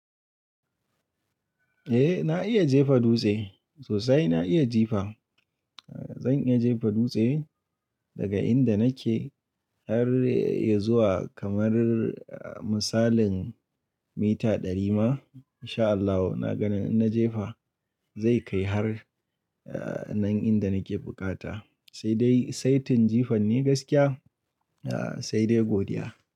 Eh na iya jefa dutse sosai na iya jifa. Zan iya jefa dutse daga inda nake har ya zuwa kamar misalin mita ɗari ma in sha Allahu na ga na jefa zai kai har nan inda nake bukata. Sai dai saitin jifan ne gaskiya sai dai godiya.